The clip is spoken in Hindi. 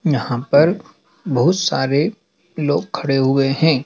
यहाँ पर बहुत सारे लोग खड़े हुए हैं।